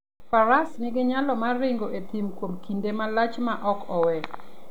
Faras nigi nyalo mar ringo e thim kuom kinde malach maok owe.